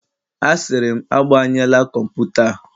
Asịrị m, agbanyela kọmputa a